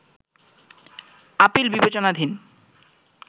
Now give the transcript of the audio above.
appeal বিবেচনাধীন